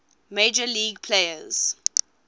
major league players